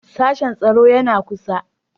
Sashen tsaro yana kusa.